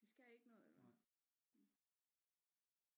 De skal ikke noget eller hvad